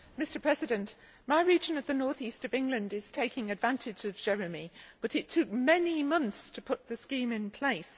Mr President, my region of the north east of England is taking advantage of JEREMIE but it took many months to put the scheme in place.